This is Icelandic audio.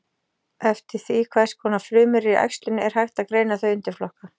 Eftir því hvers konar frumur eru í æxlinu er hægt að greina þau í undirflokka.